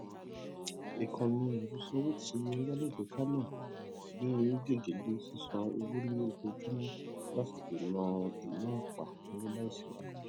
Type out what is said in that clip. ikanni afisanwo ti ẹrọ alágbèéká náà gbé gege le sisan owo ni ojoojúmọ láti dènà inaapa owo laisi arojinlẹ